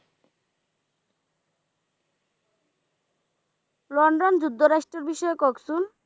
London যুক্ত রাষ্ট্রের বিষয়ে কহেন তো